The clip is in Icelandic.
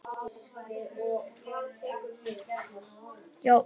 Hún benti á dúkkuna sem lá í fullkomnu sakleysi sínu á sófanum.